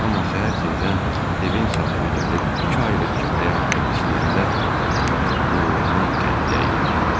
Amma səhər tezdən evin sahibi gəlib iki aylıq kirayə haqqını istəyəndə qürurumun qədə əyildi.